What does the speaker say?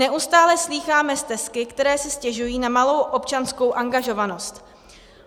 Neustále slýcháme stesky, které si stěžují na malou občanskou angažovanost.